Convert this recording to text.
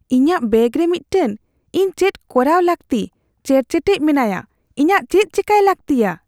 ᱤᱧᱟᱹᱜ ᱵᱮᱜ ᱨᱮ ᱢᱤᱫᱴᱟᱝ ᱾ ᱤᱧ ᱪᱮᱫ ᱠᱚᱨᱟᱣ ᱞᱟᱹᱠᱛᱤᱪᱮᱨᱪᱮᱴᱮᱡ ᱢᱮᱱᱟᱭᱟ ᱾ ᱤᱧᱟᱜ ᱪᱮᱫ ᱪᱮᱠᱟᱭ ᱞᱟᱹᱜᱛᱤᱭᱟ ?